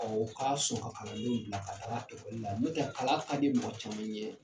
Ɔ u ka sɔn ka kalandenw bila ka taa ekɔli la n'o tɛ kalan ka di mɔgɔ caman ye